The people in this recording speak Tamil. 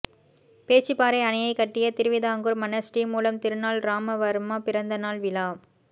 பேச்சிப்பாறை அணையைக் கட்டிய திருவிதாங்கூா் மன்னா் ஸ்ரீமூலம் திருநாள் ராமவா்மா பிறந்த நாள் விழா